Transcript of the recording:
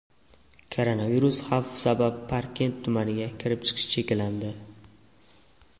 Koronavirus xavfi sabab Parkent tumaniga kirib-chiqish cheklandi.